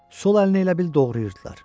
Sol əlini elə bil doğrayırdılar.